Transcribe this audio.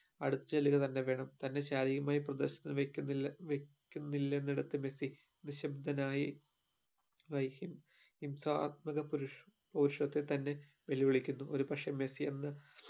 അടുത്തയിലെന്നെ വേണം തന്നെ ശാരീരികമായി പ്രദർശനം വെക്കുന്നില്ളെന്ന വെയ്കുനെല്ലാനിടത് മെസ്സി നിശബ്തനായി ഇൻഫാ ആത്മകായി പുരുഷ് പോഷത്തിൽ തന്നെ വെല്ലു വിളിക്കുന്നു ഒരു പഷേ മെസ്സി എന്ന